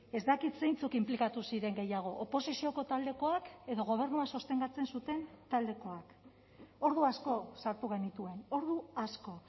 ez dakit zeintzuk inplikatu ziren gehiago oposizioko taldekoak edo gobernua sostengatzen zuten taldekoak ordu asko sartu genituen ordu asko